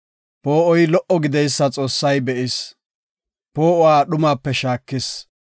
Poo7oy lo77o gididaysa Xoossay be7is; poo7uwa dhumape shaakis.